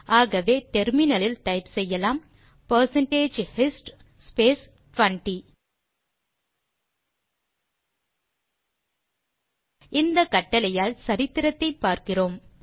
ஆகவே நாம் முனையத்தில் டைப் செய்யலாம் பெர்சென்டேஜ் ஹிஸ்ட் ஸ்பேஸ் 20 இந்த கட்டளையால் சரித்திரத்தை பார்கிறோம்